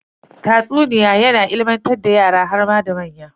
Tatsuniya yana ilimantar da yara harma da manya.